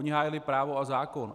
Oni hájili právo a zákon.